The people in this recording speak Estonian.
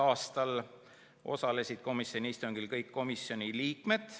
a. Osalesid peaaegu kõik komisjoni liikmed.